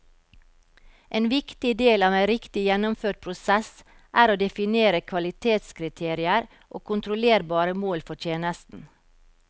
En viktig del av en riktig gjennomført prosess er å definere kvalitetskriterier og kontrollerbare mål for tjenesten.